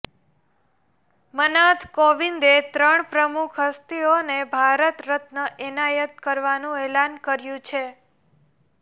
મનાથ કોવિંદે ત્રણ પ્રમુખ હસ્તીઓને ભારત રત્ન એનાયત કરવાનું એલાન કર્યું છે